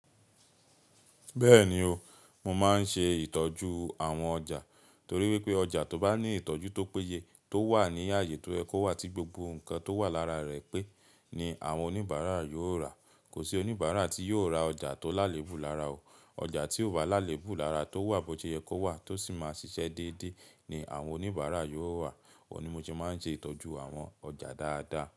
Bẹ́ẹ̀ni o, mo máa ń ṣe ìtọ́jú àwọn ọjà torí wípé ọjà tó bá ní ìtọ́jú tó péye tó wà ní ààyè tó yẹ kó wà tí gbogbo ǹkan tó wà lára rẹ̀ pẹ́, ni àwọn oníbàárà yóò rà. Kò sí oníbàárà tí yóò ra ọjà tó lálébù lára o. Ọjà tíò bá lálébù lára tó wà bótiyẹ kówà tó sì máa ṣiṣẹ́ déédé ni àwọn oníbàárà yóò rà. Òhun ni mo ṣe máa ń ṣe ìtọ́jú àwọn ọjà dáadáa.